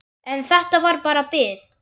En þetta var bara bið.